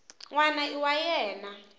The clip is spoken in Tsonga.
n wana i wa yena